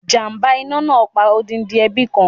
Ìjàmbá iná náà pa odindi ẹbí kan.